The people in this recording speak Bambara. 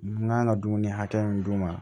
N kan ka dumuni hakɛ min d'u ma